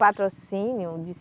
Patrocínio de